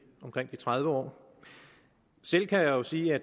tredive år selv kan jeg jo sige at